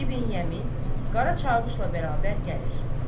İbn Yəmin, Qara Qaravuşla bərabər gəlir.